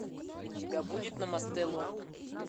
у тебя будет намасте лондон